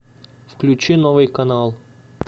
включи новый канал